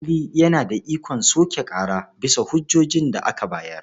Alƙali yana da ikon soke ƙara bisa hujjojin da aka bayar.